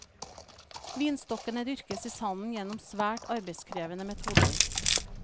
Vinstokkene dyrkes i sanden gjennom svært arbeidskrevende metoder.